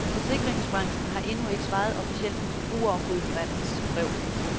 Forsikringsbranchen har endnu ikke svaret officielt på forbrugerombudsmandens brev.